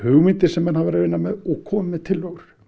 hugmyndir sem menn hafa verið að vinna með og komi með tillögur